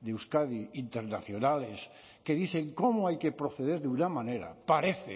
de euskadi internacionales que dicen cómo hay que proceder de una manera parece